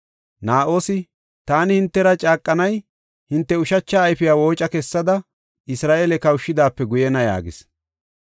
Na7oosi, “Taani hintera caaqanay hinte ushacha ayfiya wooca kessada Isra7eele kawshidaape guyena” yaagis.